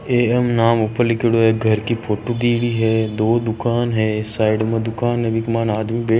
एम नाम ऊपर लिखयोडो है घर की फोटो भी दी गयी है दो दुकान है साइड में दुकान है विका मैने आदमी बे--